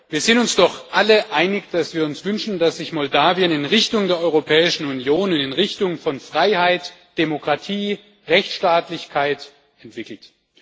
Wir sind uns doch alle einig, dass wir uns wünschen, dass sich Moldau in Richtung der Europäischen Union und in Richtung von Freiheit, Demokratie und Rechtsstaatlichkeit entwickelt.